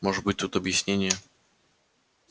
может быть тут объяснение